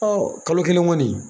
kalo kelen kɔni